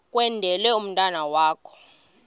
kwendele umntwana wakho